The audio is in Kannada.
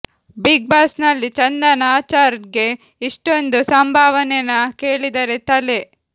ಬಿಗ್ ಬಾಸ್ ನಲ್ಲಿ ಚಂದನ್ ಆಚಾರ್ ಗೆ ಇಷ್ಟೊಂದು ಸಂಭಾವನೆನಾ ಕೇಳಿದರೆ ತಲೆ